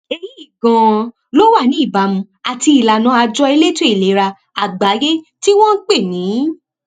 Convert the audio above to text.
èyí ganan ló wà ní ìbámu àti ìlànà àjọ elétò ìlera àgbáyé tí wọn ń pè ní